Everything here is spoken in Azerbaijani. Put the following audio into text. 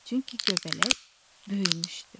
Çünki göbələk böyümüşdü.